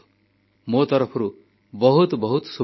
ମୋ ତରଫରୁ ବହୁତ ବହୁତ ଶୁଭକାମନା